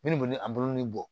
Min ni boli a bolon ni bɔ